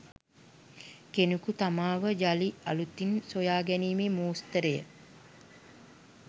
කෙනෙකු තමාවම යළි අලුතින් සොයා ගැනීමේ මෝස්තරය